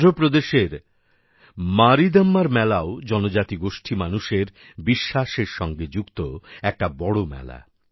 অন্ধ্রপ্রদেশের মারীদম্মার মেলাও জনজাতিগোষ্ঠী মানুষের বিশ্বাস সঙ্গে যুক্ত একটা বড় মেলা